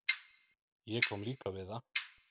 Ég kom líka við það.